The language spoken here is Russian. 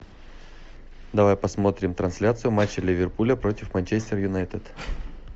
давай посмотрим трансляцию матча ливерпуля против манчестер юнайтед